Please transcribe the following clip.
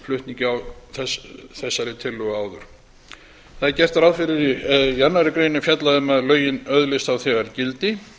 flutningi á þessari tillögu áður í annarri grein er fjallað um að lögin öðlist þá þegar gildi